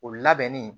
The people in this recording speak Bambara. O labɛnni